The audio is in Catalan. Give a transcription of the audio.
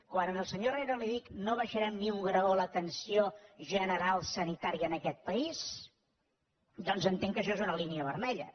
quan al senyor herrera li dic no baixarem ni un graó l’atenció general sanitària en aquest país doncs entenc que això és una línia vermella